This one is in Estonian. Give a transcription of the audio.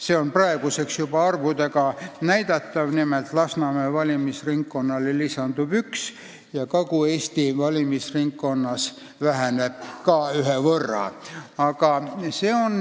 See on praeguseks juba arvudega näidatav: nimelt lisandub Lasnamäe valimisringkonnale üks mandaat ja Kagu-Eesti valimisringkonnas väheneb mandaatide arv ka ühe võrra.